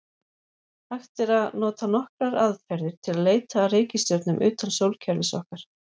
Hægt er að nota nokkrar aðferðir til að leita að reikistjörnum utan sólkerfis okkar.